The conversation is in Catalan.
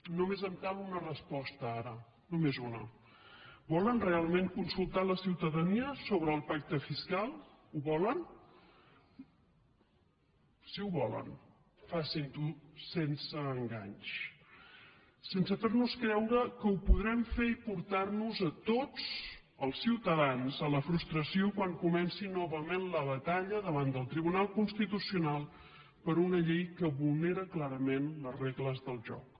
només em cal una resposta ara només una volen realment consultar la ciutadania sobre el pacte fiscal ho volen si ho volen facin ho sense enganys sense fernos creure que ho podrem fer i portar nos a tots els ciutadans a la frustració quan comenci novament la batalla davant del tribunal constitucional per una llei que vulnera clarament les regles del joc